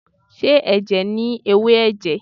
Ṣé ẹ̀jẹ̀ ni ewé ẹ̀jẹ̀?